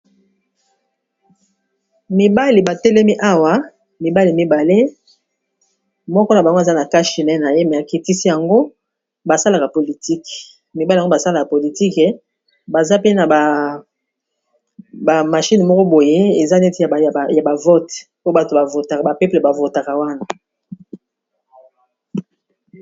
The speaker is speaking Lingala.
Mibali batelemi awa mibali mibale, moko na bango aza na cache nez na ye Kasi akitisi yango, basalaka politics mibali yango, basalaka politics, baza pe na ba machine moko boye eza neti ya ba vote, po bato ba peuples bavotaka wana.